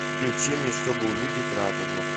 включи мне чтобы увидеть радугу